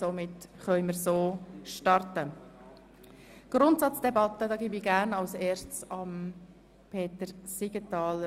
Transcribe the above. Somit können wir mit der Grundsatzdebatte starten.